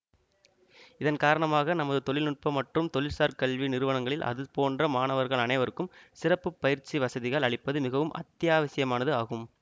இதன் காரணமாக நமது தொழில் நுட்ப மற்றும் தொழில்சார் கல்வி நிறுவனங்களில் அது போன்ற மாணவர்கள் அனைவருக்கும் சிறப்பு பயிற்சி வசதிகள் அளிப்பது மிகவும் அத்தியாவசியமானது ஆகும்